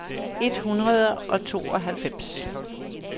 et hundrede og tooghalvfems